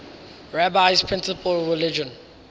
rabbi's principal religious